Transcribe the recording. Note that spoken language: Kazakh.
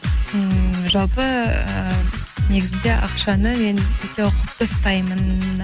ммм жалпы ы негізінде ақшаны мен өте ұқыпты ұстаймын